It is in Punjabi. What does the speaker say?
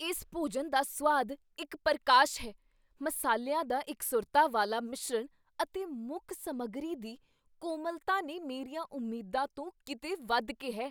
ਇਸ ਭੋਜਨ ਦਾ ਸੁਆਦ ਇੱਕ ਪਰਕਾਸ਼ ਹੈ, ਮਸਾਲਿਆਂ ਦਾ ਇਕਸੁਰਤਾ ਵਾਲਾ ਮਿਸ਼ਰਣ ਅਤੇ ਮੁੱਖ ਸਮੱਗਰੀ ਦੀ ਕੋਮਲਤਾ ਨੇ ਮੇਰੀਆਂ ਉਮੀਦਾਂ ਤੋਂ ਕੀਤੇ ਵੱਧ ਕੇ ਹੈ।